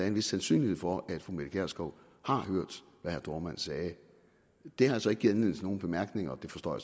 en vis sandsynlighed for at fru mette gjerskov har hørt hvad herre dohrmann sagde det har så ikke givet anledning nogen bemærkninger og det forstår